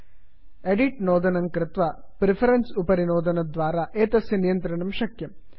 edit edit नोदनं कृत्वा preferences preference उपरि नोदनद्वारा एतस्य नियन्त्रणं शक्यम्